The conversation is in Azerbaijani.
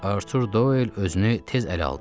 Artur Doyl özünü tez ələ aldı.